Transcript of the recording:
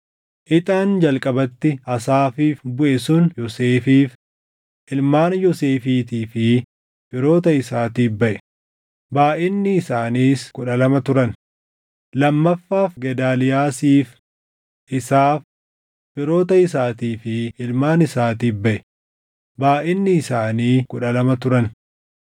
Ixaan jalqabatti Asaafiif buʼe sun Yoosefiif, // ilmaan Yoosefiitii fi firoota isaatiif baʼe; // baayʼinni isaaniis kudha lama turan lammaffaan Gedaaliyaasiif, // isaaf, firoota isaatii fi ilmaan isaatiif baʼe; // baayʼinni isaanii kudha lama turan